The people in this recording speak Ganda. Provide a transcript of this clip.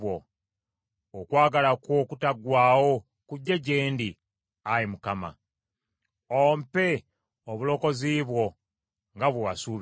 Okwagala kwo okutaggwaawo kujje gye ndi, Ayi Mukama ; ompe obulokozi bwo nga bwe wasuubiza;